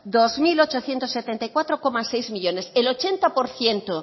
dos mil ochocientos setenta y cuatro coma seis millónes el ochenta por ciento